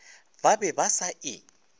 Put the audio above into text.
ba be ba sa e